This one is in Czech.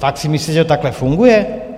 Fakt si myslí, že to takhle funguje?